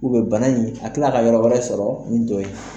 bana in a bɛ kila ka yɔrɔ wɛrɛ sɔrɔ min to ye.